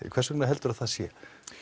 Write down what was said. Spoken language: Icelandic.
hvers vegna helduru að það sé